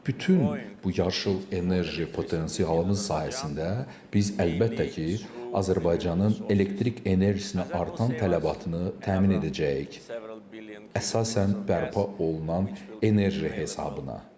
Bütün bu yaşıl enerji potensialımız sayəsində biz əlbəttə ki, Azərbaycanın elektrik enerjisinə artan tələbatını təmin edəcəyik, əsasən bərpa olunan enerji hesabına.